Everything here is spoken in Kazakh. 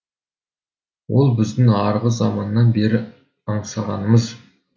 ол біздің арғы заманнан бері аңсағанымыз